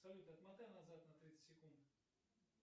салют отмотай назад на тридцать секунд